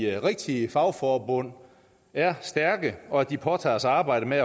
rigtige fagforbund er stærke og at de påtager sig arbejdet med